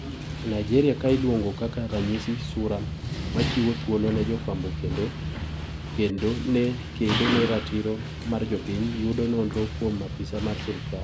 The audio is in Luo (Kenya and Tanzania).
Nigeria ,kailuongo kaka ranyisi ,Sura machiwo thuolo ne jofwambo kendo kedo ne ratiro mar jopiny yudo nonro kuom apise mar sirkal.